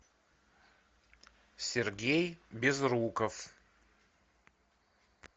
сергей безруков